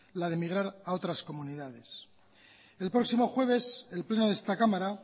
la de emigrar a otras comunidades el próximo jueves el pleno de esta cámara